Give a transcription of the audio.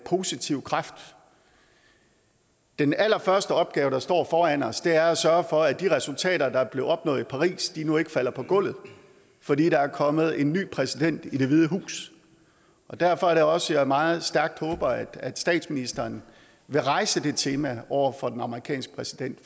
positiv kraft den allerførste opgave der står foran os er at sørge for at de resultater der blev opnået i paris nu ikke falder på gulvet fordi der er kommet en ny præsident i det hvide hus derfor er det også jeg meget stærkt håber at statsministeren vil rejse det tema over for den amerikanske præsident